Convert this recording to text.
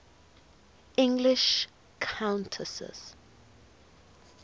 english countesses